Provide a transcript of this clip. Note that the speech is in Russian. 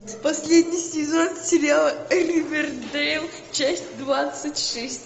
последний сезон сериала ривердейл часть двадцать шесть